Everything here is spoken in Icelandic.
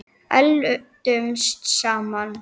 Eldumst saman.